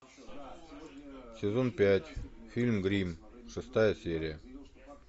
сезон пять фильм гримм шестая серия